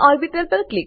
પ ઓર્બિટલ